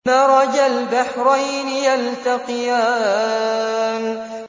مَرَجَ الْبَحْرَيْنِ يَلْتَقِيَانِ